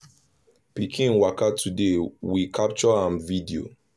pikin waka today we capture am video.